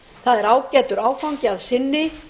það er ágætur áfangi að sinni